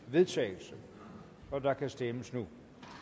vedtagelse og der kan stemmes nu